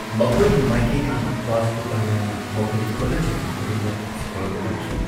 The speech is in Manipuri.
ꯃꯈꯣꯏꯒꯤ ꯃꯥꯏꯀꯩꯗꯒꯤ ꯔꯥꯖꯄꯨꯇꯥꯅꯥꯅ ꯃꯈꯣꯏꯒꯤ ꯍꯣꯠꯅꯖꯃꯟ ꯈꯨꯗꯤꯡꯃꯛ ꯁ꯭ꯀꯣꯔꯗ ꯎꯠꯈꯤ꯫